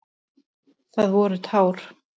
Það voru tár.